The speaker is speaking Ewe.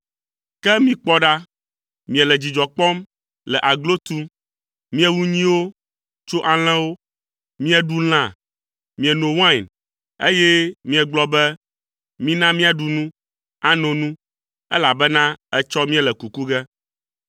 Ke mikpɔ ɖa, miele dzidzɔ kpɔm, le aglo tum. Miewu nyiwo, tso alẽwo; mieɖu lã, mieno wain, eye miegblɔ be, “Mina miaɖu nu, ano nu, elabena etsɔ miele kuku ge!”